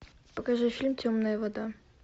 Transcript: покажи фильм темная вода